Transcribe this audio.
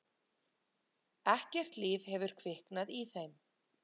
Ekkert líf hefur kviknað í þeim.